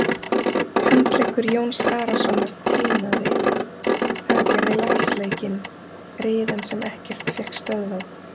Handleggur Jóns Arasonar tinaði, það gerði lasleikinn, riðan sem ekkert fékk stöðvað.